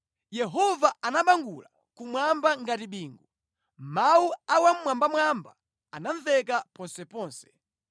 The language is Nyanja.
Yehova anabangula kumwamba ngati bingu, mawu a Wammwambamwamba anamveka ponseponse.